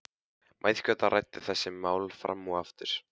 Mæðgurnar ræddu þessi mál fram og aftur.